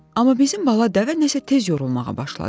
Amma bizim bala dəvə nəsə tez yorulmağa başladı.